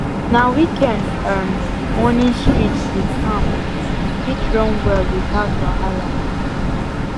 na weekend um morning street dey calm fit run well without wahala um